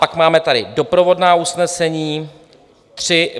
Pak máte tady doprovodná usnesení.